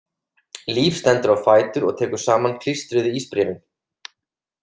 Líf stendur á fætur og tekur saman klístruð ísbréfin.